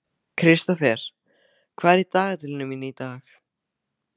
Kristófer, hvað er í dagatalinu mínu í dag?